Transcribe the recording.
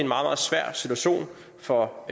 meget svær situation for